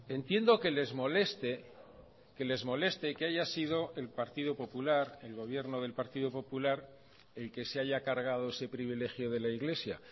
entiendo que les moleste que les moleste que haya sido el partido popular el gobierno del partido popular el que se haya cargado ese privilegio de la iglesia